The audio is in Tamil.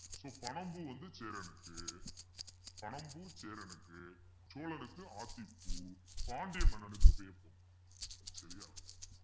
so பனம்பூ வந்து சேரனுக்கு பனம் பூ சேரனுக்கு சோழனுக்கு ஆத்திப்பூ பாண்டிய மன்னனுக்கு வேப்பம் பூ சரியா